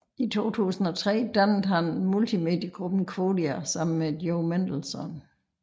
I 2003 dannede han multimediegruppen Quodia sammen med Joe Mendelson